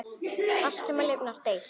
Allt, sem lifnar, deyr.